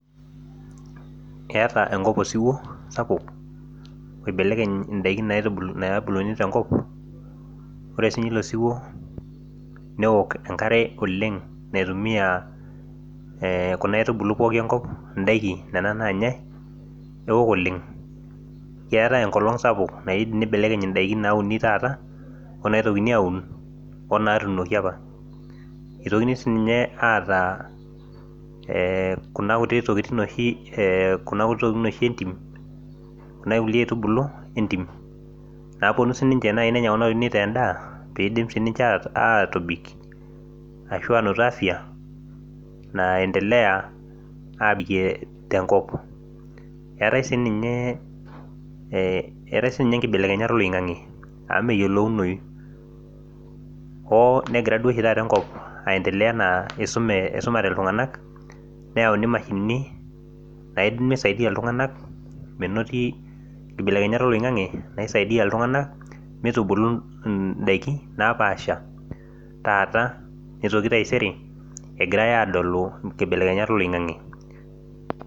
Keeta enkop osiwuo sapuk oibelekeny ore sinye ilo siwuo neok enkare sapuk naitumia kunabaitubulu pooki enkop ndakin keok oleng keetae enkolong sapuk naibelekeny ndakin nauni taata onaitoki aun onatuunoki apa itokini sinye aata ee kuna kulie tokitin entim kuna aitubulu entim naponu ninche nenya kunatokitin aitaa endaa petumoki atobik ashu etum afya naendelea abil tenkop eetae sii nye enkibelekeny oloingangi amu meyiolounoi oo negira enkop aendelea isume ltunganak neyauni mashinini naidim nisaidia ltunganak menoti mitubulu ndakini napaasha taata nitoki taisere egirai adolu nibelekenyat oloingangi.